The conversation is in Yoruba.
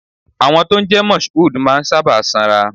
Àwọn tó ń jẹ́ Mashood máa ń sábà sanra.